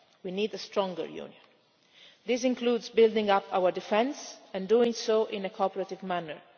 We need a stronger Union. This includes building up our defence and doing so in a cooperative manner